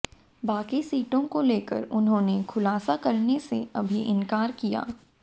बाकी सीटों को लेकर उन्होंने खुलासा करने से अभी इनकार किया